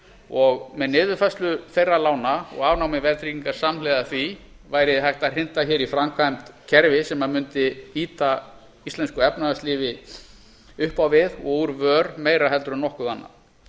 og með niðurfærslu þeirra lána og afnámi verðtryggingar samhliða því væri hægt að hrinda hér í framkvæmd kerfi sem mundi ýta íslensku efnahagslífi upp á við og úr vör meira en nokkuð annað